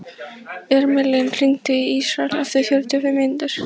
Irmelín, hringdu í Ísrael eftir fjörutíu og fimm mínútur.